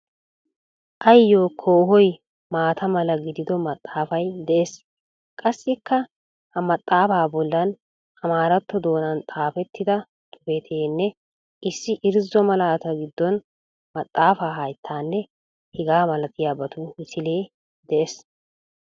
Ayyoo koohoy maata mala giidido maxaafay de'ees. Qassikka ha maxaafaa bollan amaaratto doonan xaafettida xuufeenne issi irzzo malataa giddon maxaafa, hayttanne hegaa malatiyabatu misilee de'ees.